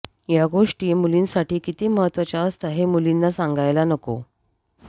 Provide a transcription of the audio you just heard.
या गोष्टी मुलींसाठी किती महत्त्वाच्या असतात हे मुलींना सांगायला नको